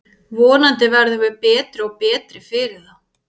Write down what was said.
Vonandi verðum við betri og betri fyrir þá.